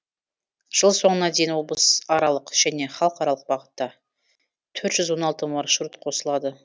жыл соңына дейін облысаралық және халықаралық бағытта төрт жүз он алты маршрут қосылады